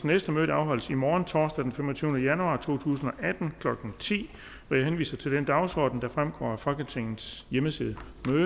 næste møde afholdes i morgen torsdag den femogtyvende januar to tusind og atten klokken ti jeg henviser til den dagsorden der fremgår af folketingets hjemmeside